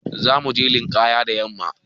Za mu je linƙaya da yamma.